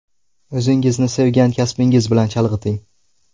O‘zingizni sevgan kasbingiz bilan chalg‘iting!